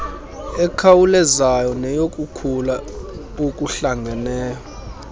ekhawulezayo neyokukhula okuhlangeneyo